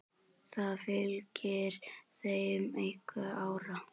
Það fylgir þeim einhver ára.